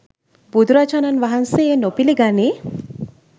බුදුරජාණන් වහන්සේ එය නොපිළිගනී.